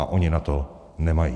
A ona na to nemají.